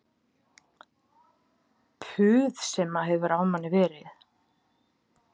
Puð sem hefur á manni verið